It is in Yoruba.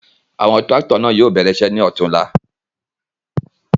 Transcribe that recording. Awọn tirakito náa yóò bẹrẹ iṣẹ ni ọtunla